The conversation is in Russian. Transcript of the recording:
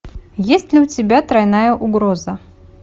есть ли у тебя тройная угроза